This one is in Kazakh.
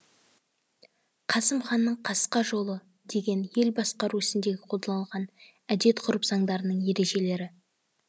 қасым ханның қасқа жолы деген ел басқару ісінде қолданылған әдет ғұрып заңдарының ережелері